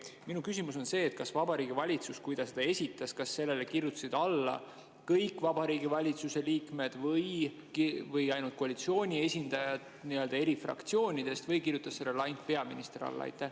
Minu küsimus on see, kui Vabariigi Valitsus esitas, siis kas sellele kirjutasid alla kõik Vabariigi Valitsuse liikmed või ainult koalitsiooni esindajad eri fraktsioonidest või kirjutas sellele ainult peaminister alla?